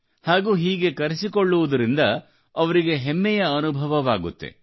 ಹಾಗೂ ಹೀಗೆ ಕರೆಸಿಕೊಳ್ಳುವುದರಿಂದಅವರಿಗೆ ಹೆಮ್ಮೆಯ ಅನುಭವವಾಗುತ್ತದೆ